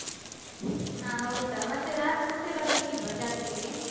ಅ ಹೌದಾ? ಮತ್ತೆ ರಾತ್ರಿ ಬರ್ಲಿಕ್ಕಿಲ್ವಾ ಜಾತ್ರೆಗೆ?